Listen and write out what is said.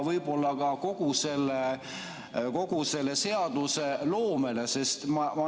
Võib-olla isegi kogu seadusloomet.